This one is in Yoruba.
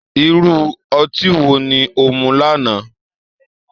Irú ọtí wo ni o mu lánàá?